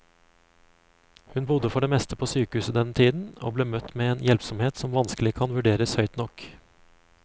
Hun bodde for det meste på sykehuset denne tiden, og ble møtt med en hjelpsomhet som vanskelig kan vurderes høyt nok.